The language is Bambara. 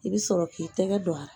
I bɛ sɔrɔ k'i tɛgɛ don a la